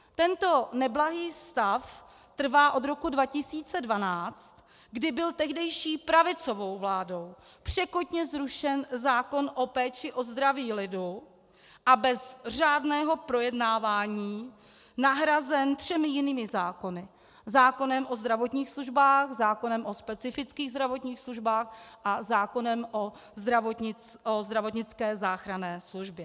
Tento neblahý stav trvá od roku 2012, kdy byl tehdejší pravicovou vládou překotně zrušen zákon o péči o zdraví lidu a bez řádného projednávání nahrazen třemi jinými zákony - zákonem o zdravotních službách, zákonem o specifických zdravotních službách a zákonem o zdravotnické záchranné službě.